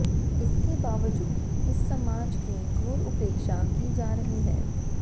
इसके बावजूद इस समाज की घोर उपेक्षा की जा रही है